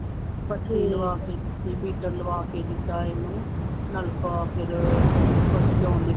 ਬੱਤੀ ਲਵਾ ਕੇ ਦਿੱਤੀ, ਮੀਟਰ ਲਵਾ ਕੇ ਦਿੱਤਾ ਇਹਨੂੰ ਨਲਕਾ ਫੇਰ, ਪਸ਼ੂ